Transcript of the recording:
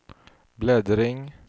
bläddring